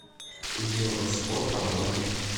евроспорт онлайн